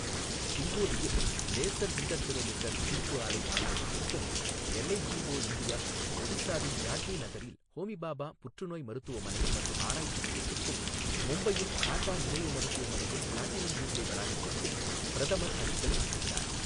ஹிங்கோலியில் laser interferometer ஈர்ப்பு அலை ஆய்வகத்திற்கும் எல்ஐஜிஓ இந்தியா, ஒடிசாவின் ஜாட்னி நகரில் ஹோமிபாபா புற்றுநோய் மருத்துவமனை மற்றும் ஆராய்ச்சி மையத்திற்கும், மும்பையில் டாடா நினைவு மருத்துவமனையின் பிளாட்டினம் ஜூப்ளி வளாகத்திற்கும் பிரதமர் அடிக்கல் நாட்டுகிறார்.